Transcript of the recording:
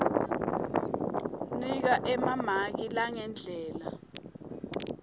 nika emamaki ngalendlela